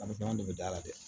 de bɛ da la dɛ